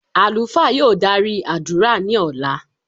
Alufa yóò dari adura ni ọla.